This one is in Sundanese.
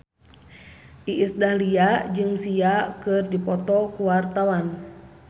Iis Dahlia jeung Sia keur dipoto ku wartawan